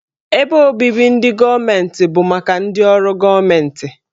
Ebe obibi ndị gọọmentị bụ maka ndị ọrụ gọọmentị.